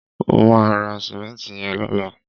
mo ma ra simenti yen lola